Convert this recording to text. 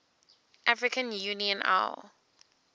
african union au